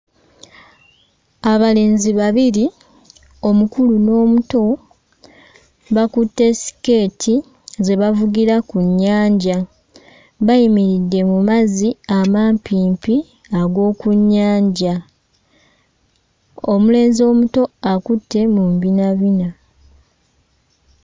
Abalenzi babiri omukulu n'omuto bakutte ssikeeti ze bavugira ku nnyanja bayimiridde mu mazzi amampimpi ag'oku nnyanja omulenzi omuto akutte mu mbinabina.